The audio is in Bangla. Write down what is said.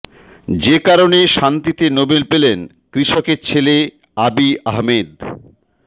যে কারণে শান্তিতে নোবেল পেলেন কৃষকের ছেলে আবি আহমেদ